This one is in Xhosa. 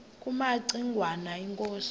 kumaci ngwana inkosi